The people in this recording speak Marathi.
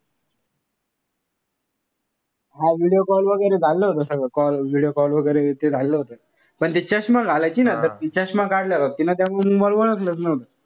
हा video call वगैरे चाललं होत सगळं. call video call वगैरे ते होत. पण ते चष्मा घालायची ना तिच्या चष्मा काढल्या वक्ती ना मी ओळखलंच नव्हतं.